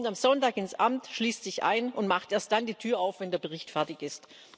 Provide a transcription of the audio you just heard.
Er kommt am Sonntag ins Amt, schließt sich ein und macht erst dann die Tür auf, wenn der Bericht fertig ist.